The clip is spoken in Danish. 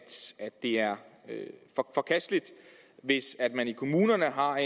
det er forkasteligt hvis man i kommunerne har